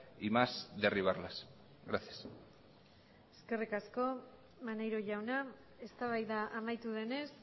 y más derribarlas gracias eskerrik asko maneiro jauna eztabaida amaitu denez